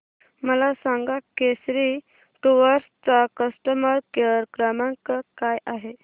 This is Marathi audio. मला सांगा केसरी टूअर्स चा कस्टमर केअर क्रमांक काय आहे